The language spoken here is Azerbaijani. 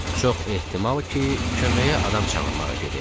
Çox ehtimal ki, köməyə adam çağırmağa gedib.